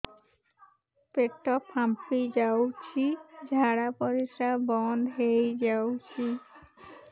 ପେଟ ଫାମ୍ପି ଯାଉଛି ଝାଡା ପରିଶ୍ରା ବନ୍ଦ ହେଇ ଯାଉଛି